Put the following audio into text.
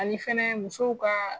Ani fɛnɛ musow ka